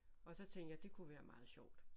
Og så tænkte jeg det kunne være meget sjovt